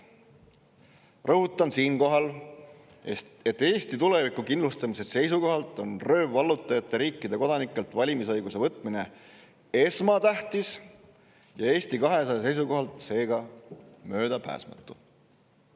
Rõhutan siinkohal, et Eesti tuleviku kindlustamise seisukohalt on röövvallutajate riikide kodanikelt valimisõiguse võtmine esmatähtis ja Eesti 200 seisukohalt seega möödapääsmatu.